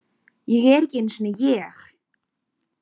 Ég er ekki einu sinni ég.